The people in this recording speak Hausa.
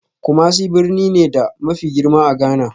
Kumasi birni ne, da mafi girma a Ghana